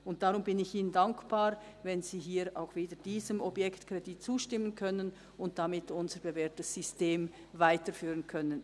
Deshalb bin ich Ihnen dankbar, wenn Sie hier auch diesem Objektkredit zustimmen und wir damit unser bewährtes System weiterführen können.